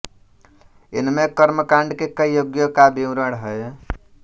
इनमे कर्मकाण्ड के कई यज्ञों का विवरण हैः